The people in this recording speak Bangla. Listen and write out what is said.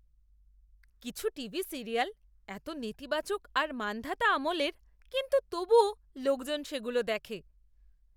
কিছু টিভি সিরিয়াল এত নেতিবাচক আর মান্ধাতা আমলের কিন্তু তবুও লোকজন সেগুলো দেখে!